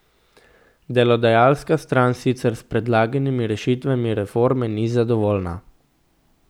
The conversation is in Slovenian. Delodajalska stran sicer s predlaganimi rešitvami reforme ni zadovoljna.